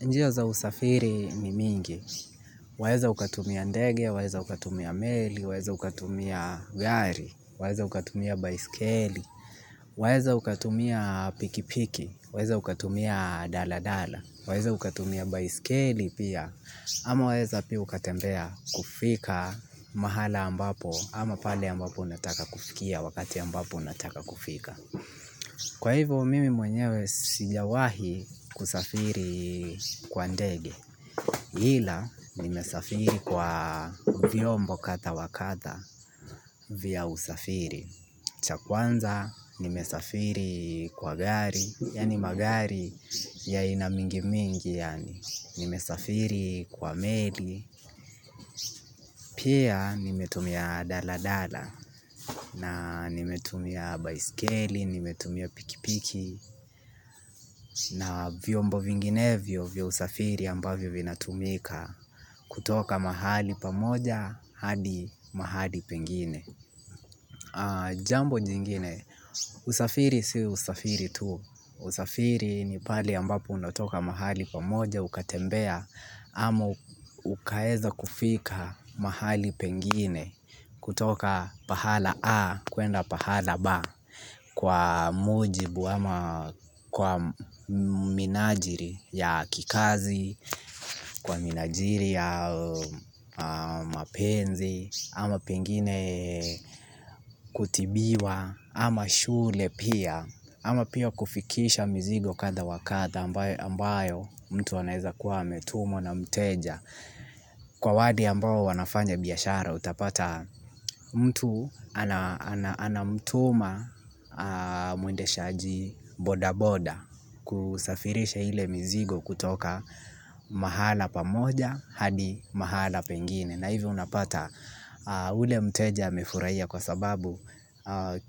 Njia za usafiri ni mingi, waeza ukatumia ndege, waeza ukatumia meli, waeza ukatumia gari, waeza ukatumia baiskeli, waeza ukatumia pikipiki, waeza ukatumia daladala, waeza ukatumia baiskeli pia, ama waeza pia ukatembea kufika mahala ambapo, ama pale ambapo unataka kufikia wakati ambapo unataka kufika. Kwa hivyo mimi mwenyewe sijawahi kusafiri kwa ndege. Ila nimesafiri kwa vyombo kadha wa kadha vya usafiri. Cha kwanza nimesafiri kwa gari, yaani magari ya aina mingi mingi yaani, nimesafiri kwa meli. Pia nimetumia daladala na nimetumia baiskeli, nimetumia pikipiki na vyombo vinginevyo vya usafiri ambavyo vinatumika kutoka mahali pamoja hadi mahali pengine. Jambo jingine, usafiri si usafiri tu. Usafiri ni pale ambapo unatoka mahali pamoja ukatembea ama ukaweza kufika mahali pengine kutoka pahala A kuenda pahala B kwa mujibu ama kwa minajili ya kikazi, kwa minajili ya mapenzi, ama pengine kutibiwa ama shule pia ama pia kufikisha mzigo kadha wa kadha ambayo mtu anaweza kuwa ametumwa na mteja. Kwa wale ambao wanafanya biashara utapata mtu anamtuma muendeshaji boda boda kusafirisha ile mizigo kutoka mahala pamoja hadi mahala pengine. Na hivyo unapata ule mteja amefurahia kwa sababu